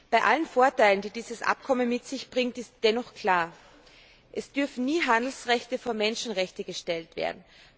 Bei allen Vorteilen, die dieses Abkommen mit sich bringt, ist dennoch klar Es dürfen nie Handelrechte vor Menschenrechte gestellt werden.